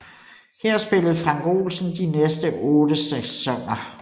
Her spillede Frank Olsen de næste otte sæsoner